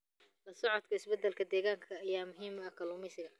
La socodka isbeddelada deegaanka ayaa muhiim u ah kalluumeysiga.